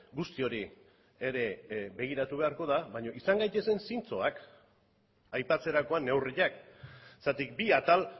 guzti hori ere begiratu beharko da baina izan gaitezen zintzoak aipatzerakoan neurriak zergatik bi atal